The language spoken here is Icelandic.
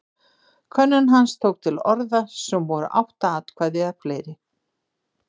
Könnun hans tók til orða sem voru átta atkvæði eða fleiri.